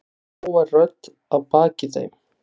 segir hávær rödd að baki þeim.